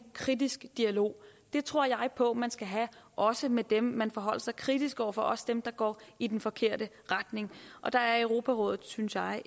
kritisk dialog det tror jeg på man skal have også med dem man forholder sig kritisk over for også dem der går i den forkerte retning og der er europarådet synes jeg